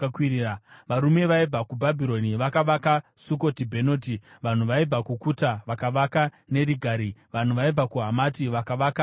Varume vaibva kuBhabhironi vakavaka Sukoti-Bhenoti, vanhu vaibva kuKuta vakavaka Nerigari, vanhu vaibva kuHamati vakavaka Ashima;